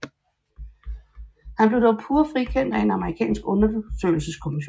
Han blev dog pure frikendt af en amerikansk undersøgelseskommission